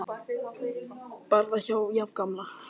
Barði var jafngamall